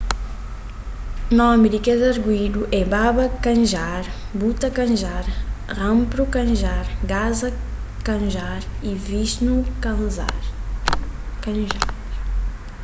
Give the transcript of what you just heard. nomi di kes arguídu é baba kanjar bhutha kanjar rampro kanjar gaza kanjar y vishnu kanjar